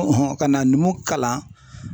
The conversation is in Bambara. ka na numuw kalan.